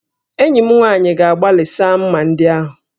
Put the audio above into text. Enyi m nwaanyị ga-agbalị saa m̀mà ndị ahụ